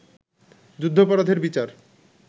যুদ্ধাপরাধের বিচার